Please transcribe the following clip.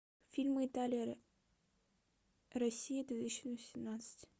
фильмы италия россия две тысячи восемнадцать